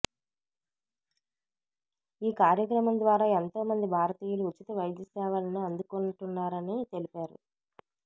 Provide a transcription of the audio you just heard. ఈ కార్యక్రమం ద్వారా ఎంతో మంది భారతీయులు ఉచిత వైద్య సేవలను అందుకుంటున్నారని తెలిపారు